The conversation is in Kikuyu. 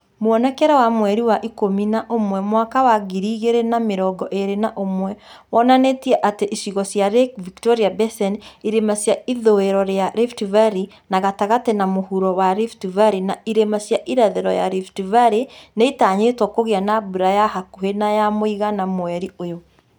Muonekere wa mweri wa ikũmi na ũmwe mwaka wa ngiri igĩrĩ na mĩrongo ĩĩrĩ na ĩmwe wonanĩtie atĩ icigo cia Lake Victoria Basin, irĩma cia ithũĩro ya Rift Valley , na gatagatĩ na mũhuro wa Rift Valley, na irĩma cia irathĩro ya Rift Valley nĩitanyĩtwo kũgĩa na mbura ya hakuhĩ nay a mũigana mweri ũyũ